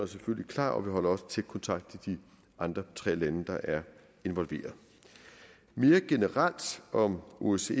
selvfølgelig klar og vi holder også tæt kontakt til de andre tre lande der er involveret mere generelt om osce